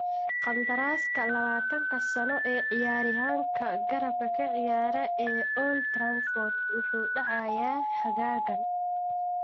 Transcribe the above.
Qandaraaska labatanka-sano ee ciyaaryahanka garabka ka ciyaara ee Old Trafford wuxuu dhacayaa xagaagan.